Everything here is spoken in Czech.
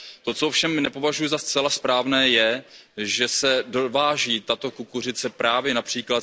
To, co ovšem nepovažuji za zcela správné, je, že se dováží tato kukuřice právě např.